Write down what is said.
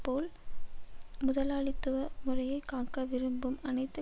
போல் முதலாளித்துவ முறையை காக்க விரும்பும் அனைத்து